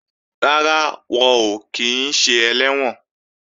Rárá, wọn ò kí ń ṣe ẹlẹ́wọ̀n